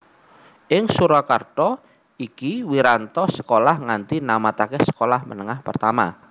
Ing Surakarta iki Wiranto sekolah nganti namataké Sekolah Menengah Pertama